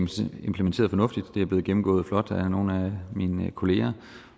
implementeret fornuftigt og det er blevet gennemgået flot af nogle af mine kollegaer